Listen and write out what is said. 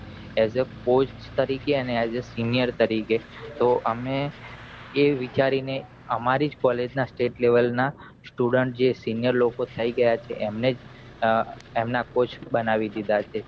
એ જ પોસ્ટ તરીકે અને એ જ સીનીયર તરીકે તો અમે એ વિચારી ને આમારી જ college ના state level ના student જે સીનીયર લોકો થઈ ગયા છે એમને જ એમના couch બનાવી ઘીઘા છે